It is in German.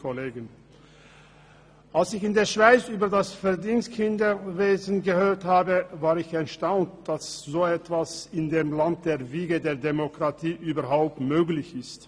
Als ich in der Schweiz vom Verdingkinderwesen hörte, war ich erstaunt, dass so etwas im Land der Wiege der Demokratie überhaupt möglich war.